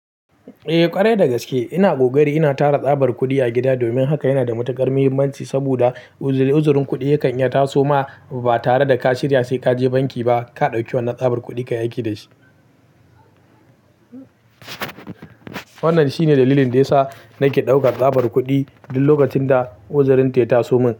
Eh ƙwarai da gaske ina ƙoƙari ina tara tsabar kuɗi a gida domin haka yana da matuƙar muhimmanci saboda uzurin kuɗi ya kan iya taso ma ba tare da ka shirya sai kaje banki ba ka ɗauki wannan tsabar kuɗi kayi aiki dashi. Wannan shine dalilin de yasa nake ɗaukar tsabar kuɗi duk lokacin da uzurin ta ya taso min.